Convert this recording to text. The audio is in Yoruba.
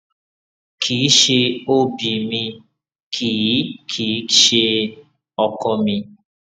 kì í ṣe ob mi kì í kì í ṣe ọkọ mi